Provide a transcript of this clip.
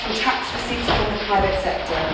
It comes from tax receipts from the private sector.